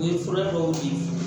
O ye fura dɔw di